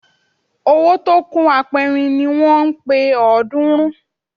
Owó tó kún apẹrin ni wọ́n ń pe ọ̀ọ́dúnrún